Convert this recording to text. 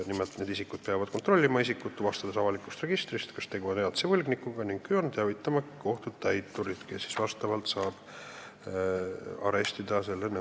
Nimelt peavad need isikud kontrollima isikut, tuvastades avalikust registrist, kas tegu on elatise võlgnikuga, ning kui on, siis teavitama kohtutäiturit, kes saab selle nõude elatise katteks arestida.